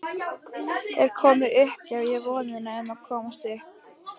Er komin uppgjöf í vonina um að komast upp?